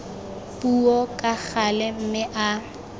puo ka gale mme a